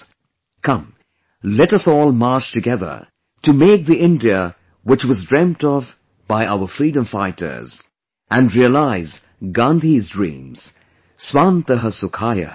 Come, let us all march together to make the India which was dreamt of by our freedom fighters and realize Gandhi's dreams 'Swantah Sukhayah'